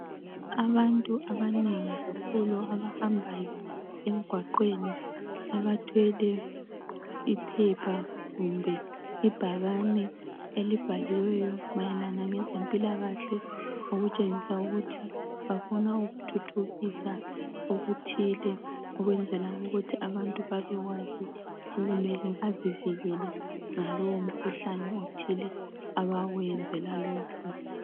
Abantu abanengi kakhulu abahambayo emgwaqweni abathwele iphepha kumbe ibhakane elibhaliweyo mayelana ngezempilakahle okutshengisa ukuthi bafuna ukuthuthukisa okuthile ukwenzela ukuthi abantu babekwazi okumele bazivikele ngalowo mkhuhlane othile abawenzela lokhu.